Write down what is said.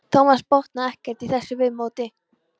Thomas botnaði ekkert í þessu viðmóti.